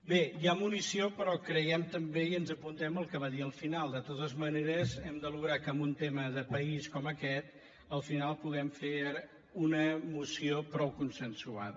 bé hi ha munició però creiem també i ens apuntem el que va dir al final de totes maneres hem d’aconseguir que en un tema de país com aquest al final puguem fer una moció prou consensuada